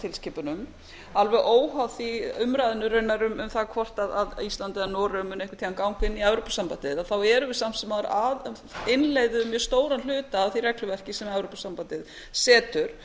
evrópusambandstilskipunum alveg óháð umræðunni raunar hvort ísland eða noregur muni einhvern tímann ganga inn í evrópusambandið þá erum við samt sem áður að innleiða mjög stóran hluta af því regluverki sem evrópusambandið setur